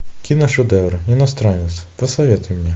киношедевры иностранец посоветуй мне